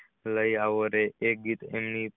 લઈ એવો રે એ ગીત એમને